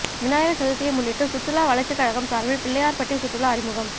விநாயகர் சதுர்த்தியை முன்னிட்டு சுற்றுலா வளர்ச்சிக்கழகம் சார்பில் பிள்ளையார்பட்டி சுற்றுலா அறிமுகம்